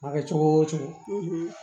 A ma kɛ cogo o cogo